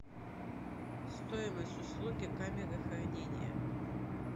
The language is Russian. стоимость услуги камеры хранения